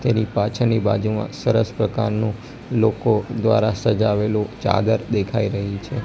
તેની પાછળની બાજુમાં સરસ પ્રકારનુ લોકો દ્વારા સજાવેલું ચાદર દેખાઈ રહી છે.